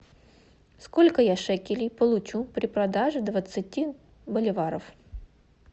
сколько я шекелей получу при продаже двадцати боливаров